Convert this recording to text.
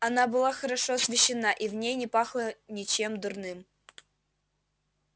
она была хорошо освещена и в ней не пахло ничем дурным